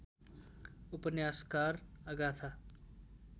उपन्यासकार अगाथा